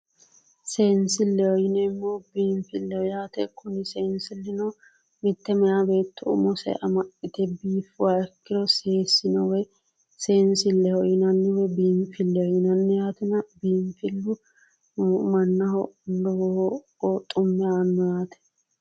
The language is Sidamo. seenisilleho yineemo biinifilleho yaate kuni seenisillino mitte meya beetto umise amxite biifuha ikkiro seesino woyi seenisilleho yinanni woyi biinifillehoyinanni yaatena biinifillu mannaho lowo xumme aano yaate